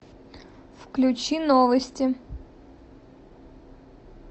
включи новости